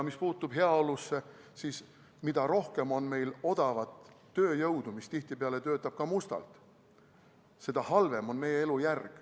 Mis puutub heaolusse, siis mida rohkem on meil odavat tööjõudu, mis tihtipeale töötab ka mustalt, seda halvem on meie elujärg.